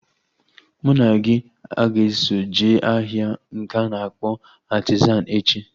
Mụ na gị a ga-eso jee ahịa nke a na-akpọ Artizan echi?